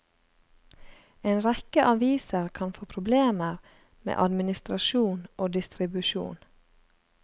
En rekke aviser kan få problemer med administrasjon og distribusjon.